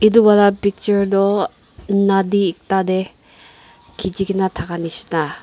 edu wala picture toh nadi ekta tae khichi kaena nishina thaka nishina.